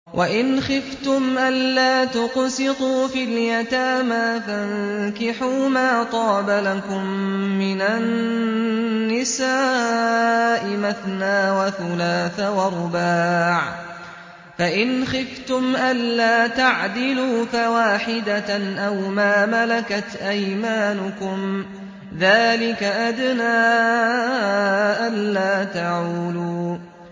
وَإِنْ خِفْتُمْ أَلَّا تُقْسِطُوا فِي الْيَتَامَىٰ فَانكِحُوا مَا طَابَ لَكُم مِّنَ النِّسَاءِ مَثْنَىٰ وَثُلَاثَ وَرُبَاعَ ۖ فَإِنْ خِفْتُمْ أَلَّا تَعْدِلُوا فَوَاحِدَةً أَوْ مَا مَلَكَتْ أَيْمَانُكُمْ ۚ ذَٰلِكَ أَدْنَىٰ أَلَّا تَعُولُوا